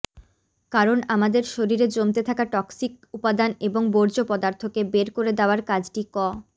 কারণ আমাদের শরীরে জমতে থাকা টক্সিক উপাদান এবং বর্জ্য পদার্থকে বের করে দেওয়ার কাজটি ক